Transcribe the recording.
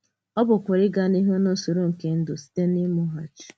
Ọ pụkwara ịga n’ihu n’ùsòrò nke ndụ site n’ìmùghachì.